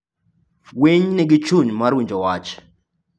Winy nigi chuny mar winjo wach.